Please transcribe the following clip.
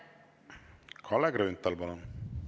Kalle Grünthal, palun!